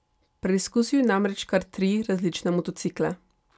Preizkusil je namreč kar tri različne motocikle.